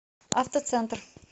автоцентр